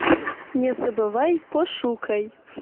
не забывай пошукай